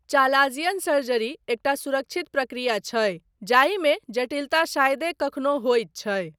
Chalazion surgery एकटा सुरक्षित प्रक्रिया छै जाहिमे जटिलता शायदे कखनो होइत छै।